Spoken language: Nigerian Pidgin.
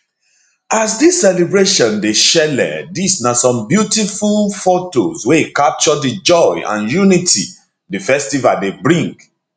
as dis celebration dey shele dis na some beautiful fotos wey capture di joy and unity di festival dey bring